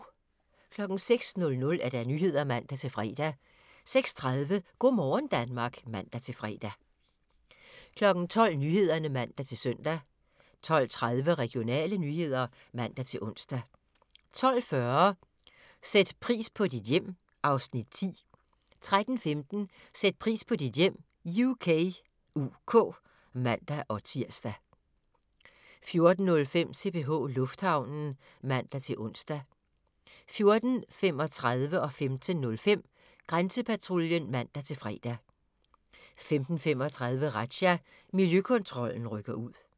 06:00: Nyhederne (man-fre) 06:30: Go' morgen Danmark (man-fre) 12:00: Nyhederne (man-søn) 12:30: Regionale nyheder (man-ons) 12:40: Sæt pris på dit hjem (Afs. 10) 13:15: Sæt pris på dit hjem UK (man-tir) 14:05: CPH Lufthavnen (man-ons) 14:35: Grænsepatruljen (man-fre) 15:05: Grænsepatruljen (man-fre) 15:35: Razzia – Miljøkontrollen rykker ud